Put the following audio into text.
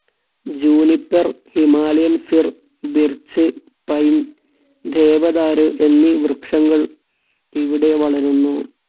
Juniper, Himalayan fir‍, birch, pine, ദേവദാരു എന്നീ വൃക്ഷങ്ങൾ ഇവിടെ വളരുന്നു.